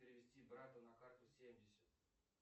перевести брату на карту семьдесят